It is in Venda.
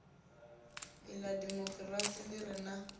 lṅa demokirasi ḽi re na